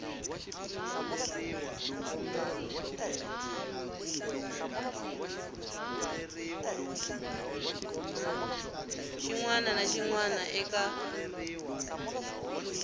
wana na xin wana eka